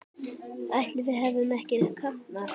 Ætli við hefðum ekki kafnað?